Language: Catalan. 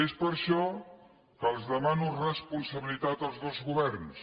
és per això que els demano responsabilitat als dos governs